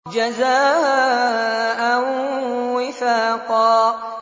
جَزَاءً وِفَاقًا